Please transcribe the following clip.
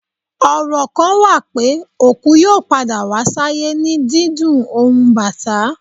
Ọrọ kan wa pe, oku yoo pada wa sayè ni díndún ohun Batà.